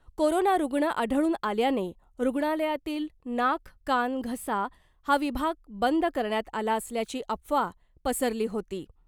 Corona रूग्ण आढळून आल्याने रूग्णालयातील नाक , कान , घसा हा विभाग बंद करण्यात आला असल्याची अफवा पसरली होती .